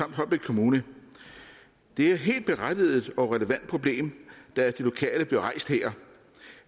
og holbæk kommune det er helt berettiget og et relevant problem der af de lokale bliver rejst her